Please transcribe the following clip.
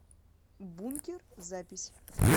бункер запись